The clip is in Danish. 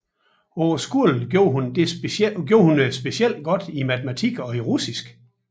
På skolen gjorde hun det specielt godt i matematik og russisk